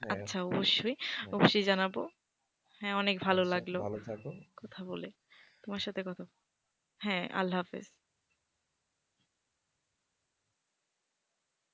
আচ্ছা অবশ্যই অবশ্যই জানাবো। হ্যাঁ অনেক ভালো লাগলো ভালো থাকো কথা বলে তোমার সাথে কথা বলে। হ্যাঁ আল্লাহ হাফেজ.